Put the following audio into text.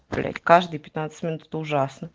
блять каждые пятнадцать минут это ужасно